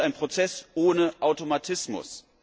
Aber das ist ein Prozess ohne Automatismus.